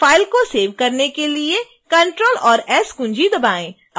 file को save करने के लिए ctrl और s कुंजी दबाएं